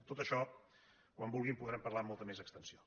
de tot això quan vulgui en podrem parlar amb molta més extensió